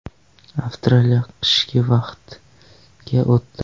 Avstraliya qishki vaqtga o‘tdi.